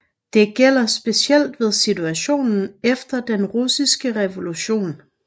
Det gælder specielt situationen efter den russiske revolution